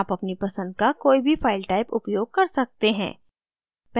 आप अपनी पसंद का कोई भी file type उपयोग कर सकते हैं